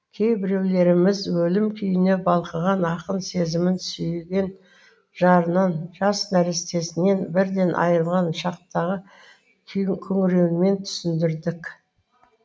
кейбіреулеріміз өлім күйіне балқыған ақын сезімін сүйген жарынан жас нәрестесінен бірден айырылған шақтағы күңіренуімен түсіндірдік